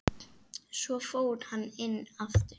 Svo fór hann inn aftur.